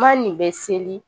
Kuma nin bɛ seli